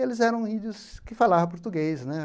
Eles eram índios que falavam português, né?